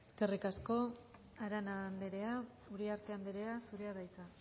eskerrik asko arana andrea uriarte andrea zurea da hitza